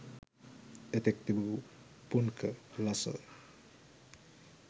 එතෙක් තිබූ පුන්ක ලස